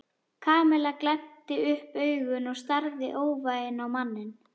Kamilla glennti upp augun og starði óvægin á manninn.